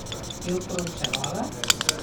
Jo proučevala.